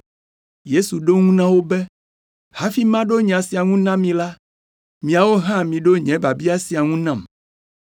Yesu ɖo eŋu na wo be, “Hafi maɖo nya sia ŋu na mi la, miawo hã miɖo nye biabia sia ŋu nam.